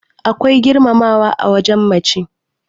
akwai girmamawa a wajen mace